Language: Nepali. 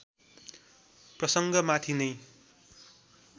प्रसङ्ग माथि नै